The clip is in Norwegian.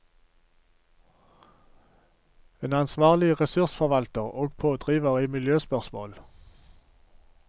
En ansvarlig ressursforvalter og pådriver i miljøspørsmål.